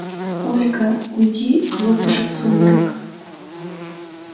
ольга уйди глубже в сумрак